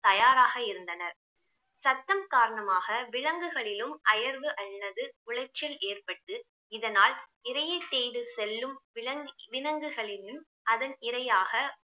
தயாராக இருந்தனர் சத்தம் காரணமாக விலங்குகளிளும் அயர்வு ஆல்லது உளைச்சல் ஏற்பட்டு இதனால் இறையை தேடி செல்லும் விலங்~ விலங்குகளிலும் அதன் இரையாக